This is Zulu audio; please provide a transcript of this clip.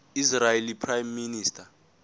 israeli prime minister